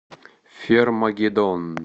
фермагеддон